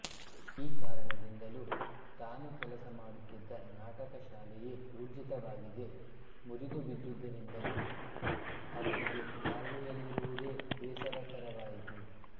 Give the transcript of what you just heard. ಈ ಕಾರಣದಿಂದಲೂ ತಾನು ಕೆಲಸ ಮಾಡುತ್ತಿದ್ದ ನಾಟಕ ಶಾಲೆಯೇ ಊರ್ಜಿತವಾಗದೆ ಮುರಿದು ಬಿದ್ದುದರಿಂದಲೂ ಅವನಿಗೆ ನಾರ್ವೆಯಲ್ಲಿರುವುದೇ ಬೇಸರಕರವಾಯಿತು